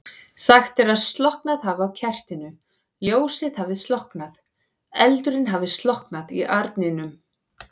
Sagt er að slokknað hafi á kertinu, ljósið hafi slokknað, eldurinn hafi slokknað í arninum.